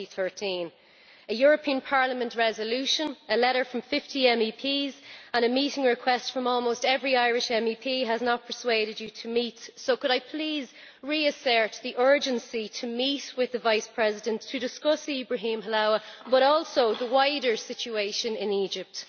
2013. A European Parliament resolution, a letter from 50 MEPs and a meeting request from almost every Irish MEP has not persuaded you to meet, so could I please reassert the urgency to meet with the Vice President to discuss Ibrahim Helawa, but also the wider situation in Egypt.